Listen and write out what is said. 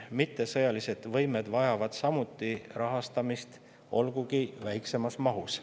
Mittesõjalised võimed vajavad samuti rahastamist, olgugi väiksemas mahus.